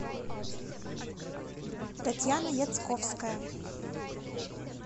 татьяна яцковская